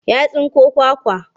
Ya tsinko kwakwa.